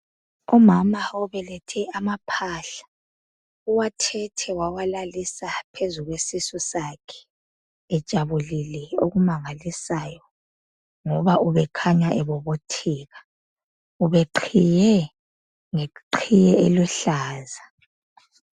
Umama obelethe amaphahla, uwathethe wawalalisa phezu kwesisu sakhe ejabulile okumangalisayo ngoba ube khanya ebobotheka. Ube qhiye ngeqhiye eluhlaza